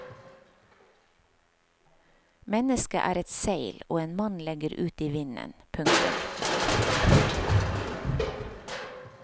Mennesket er et seil og en mann legger ut i vinden. punktum